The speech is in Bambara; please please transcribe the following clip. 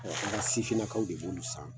an ka sifinnakaw de b'olu san